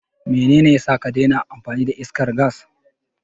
Menene yasa ka daina amfani da iskar gas?